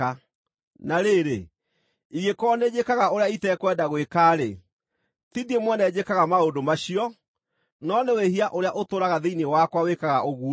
Na rĩrĩ, ingĩkorwo nĩnjĩkaga ũrĩa itekwenda gwĩka-rĩ, ti niĩ mwene njĩkaga maũndũ macio, no nĩ wĩhia ũrĩa ũtũũraga thĩinĩ wakwa wĩkaga ũguo.